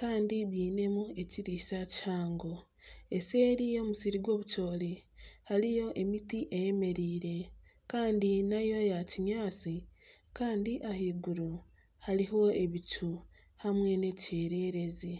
kandi bwinemu ekiriisa kihango. Eseeri y'omusiri gw'obucoori hariyo emiti eyemereire kandi nayo ya kinyaatsi kandi ahaiguru hariho ebicu hamwe n'ekyererezi.